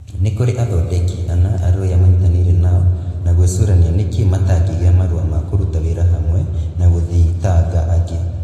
Nĩ kũrĩ athondeki ana arũĩa manyitaniire nao na gwicurania niki matangigia marua ma kuruta wira hamwe na guthitanga angi